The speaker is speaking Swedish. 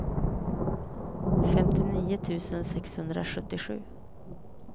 femtionio tusen sexhundrasjuttiosju